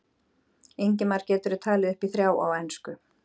Ingimar: Geturðu talið upp í þrjá á ensku?